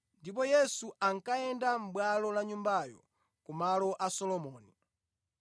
ndipo Yesu ankayenda mʼbwalo la Nyumbayo ku malo a Solomoni.